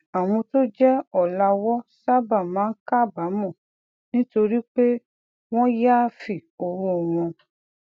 àwọn tó jé òlàwó sábà máa ń kábàámò nítorí pé wón yááfì owó wọn